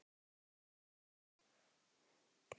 Hvað keyptir þú þér síðast?